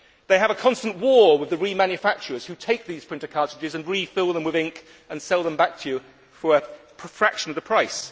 They have a constant war with the remanufacturers, who take these printer cartridges and refill them with ink and sell them back to you for a fraction of the price.